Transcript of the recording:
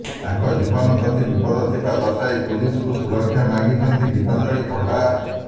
ତାଙ୍କ ଜୀବନ ପ୍ରତି ବିପଦ ଥିବା ଦର୍ଶାଇ ପୁଲିସକୁ ସୁରକ୍ଷା ମାଗିଛନ୍ତି ଗୀତାଞ୍ଜଳି ପଣ୍ଡା